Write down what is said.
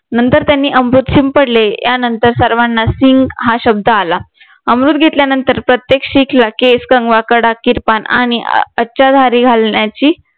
नंतर त्यांनी अमृत शिंपडले यानंतर सर्वांना सिंघ हा शब्द आला अमृत घेतल्यानंतर प्रत्येक शीखला केस कंगवा कडा किर्पाण आणि अचादरीं घालण्याची